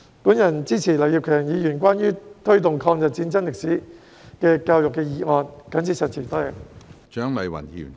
我支持劉業強議員的"推動抗日戰爭歷史的教育"議案，我謹此陳辭。